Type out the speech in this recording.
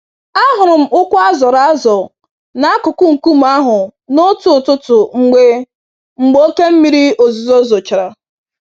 Ahụrụ m ụkwụ azọrọ azọ n'akụkụ nkume ahụ n'otu ụtụtụ mgbe mgbe oké mmírí ozuzo zochara